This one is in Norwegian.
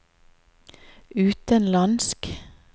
utenlandsk